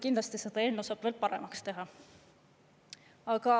Kindlasti seda eelnõu saab veel paremaks teha.